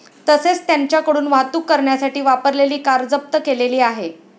तसेच त्यांच्याकडून वाहतूक करण्यासाठी वापरलेली कार जप्त केलेली आहे.